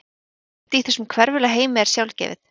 Ekkert í þessum hverfula heimi er sjálfgefið.